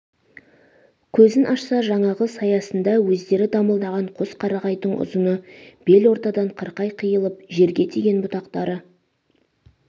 көзін ашса жаңағы саясында өздері дамылдаған қос қарағайдың ұзыны бел ортадан қырқай қиылып жерге тиген бұтақтары